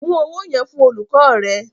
Mú owó yẹn fún olùkọ́ rẹ.